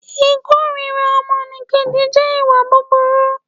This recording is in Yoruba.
Ìkórira ọmọnìkejì jẹ́ ìwà burukú